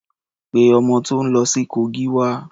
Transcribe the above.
Pé ọmọ tó ń lọ sí Kogi wá.